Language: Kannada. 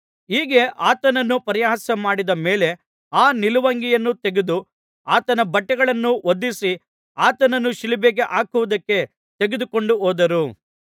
ಹೀಗೆ ಆತನನ್ನು ಪರಿಹಾಸ್ಯಮಾಡಿದ ಮೇಲೆ ಆ ನಿಲುವಂಗಿಯನ್ನು ತೆಗೆದು ಆತನ ಬಟ್ಟೆಗಳನ್ನು ಹೊದಿಸಿ ಆತನನ್ನು ಶಿಲುಬೆಗೆ ಹಾಕುವುದಕ್ಕೆ ತೆಗೆದುಕೊಂಡು ಹೋದರು